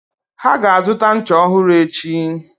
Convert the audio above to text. Ha ga-azụta ncha ọhụrụ echi.